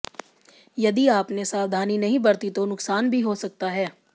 यदि आपने सावधानी नहीं बरती तो नुकसान भी हो सकता है